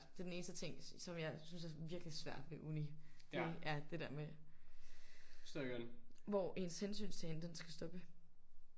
Det er den eneste ting som jeg synes er virkelig svær ved uni det er det der med hvor ens hensynstagen den skal stoppe